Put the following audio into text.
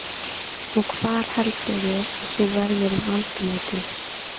Og hvar heldurðu að þú verðir um aldamótin?